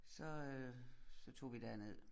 Så øh så tog vi derned